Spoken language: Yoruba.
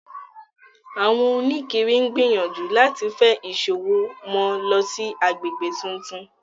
Àwọn òníkiri ń gbìyànjú láti fe ìṣòwò wọn lọ sí àgbègbè tuntun